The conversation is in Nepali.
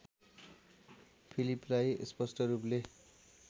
फिलिपलाई स्पष्ट रूपले